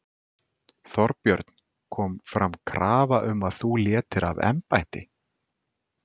Þorbjörn: Kom fram krafa um að þú létir af embætti?